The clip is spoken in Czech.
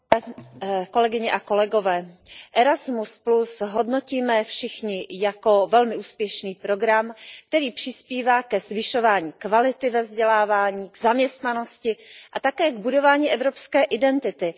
Pane předsedající, Erasmus hodnotíme všichni jako velmi úspěšný program, který přispívá ke zvyšování kvality ve vzdělávání, v zaměstnanosti a také k budování evropské identity.